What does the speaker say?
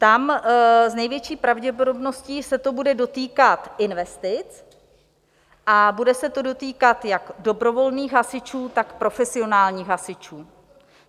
Tam s největší pravděpodobností se to bude dotýkat investic, a bude se to dotýkat jak dobrovolných hasičů, tak profesionálních hasičů.